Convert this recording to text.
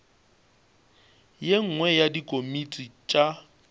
ye nngwe ya dikomiti tša